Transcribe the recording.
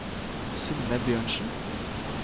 Synne Bjørnsen